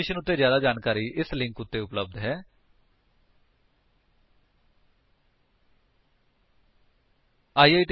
ਇਸ ਮਿਸ਼ਨ ਬਾਰੇ ਜਿਆਦਾ ਜਾਣਕਾਰੀ ਇਸ ਲਿੰਕ ਉੱਤੇ ਉਪਲੱਬਧ ਹੈ httpspoken tutorialorgNMEICT Intro ਇਹ ਸਕਰਿਪਟ ਹਰਮੀਤ ਸੰਧੂ ਦੁਆਰਾ ਅਨੁਵਾਦਿਤ ਹੈ